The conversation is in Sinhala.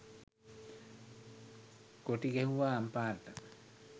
කොටි ගැහුවා අම්පාරට